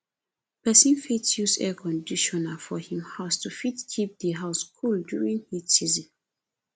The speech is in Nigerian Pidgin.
person fit use air conditioner for im house to fit keep di house cool during heat season